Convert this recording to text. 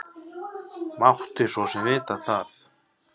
Mátti svo sem vita það.